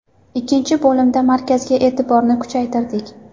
Ikkinchi bo‘limda markazga e’tiborni kuchaytirdik.